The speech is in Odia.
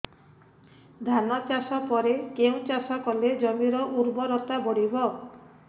ଧାନ ଚାଷ ପରେ କେଉଁ ଚାଷ କଲେ ଜମିର ଉର୍ବରତା ବଢିବ